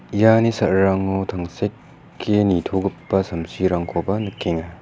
iani sa·rarango tangseke nitogipa samsirangkoba nikenga.